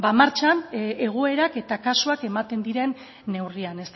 martxan egoerak eta kasuak ematen diren neurrian